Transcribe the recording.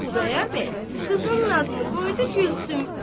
Xudayar bəy qızının adını qoydu Gülsüm.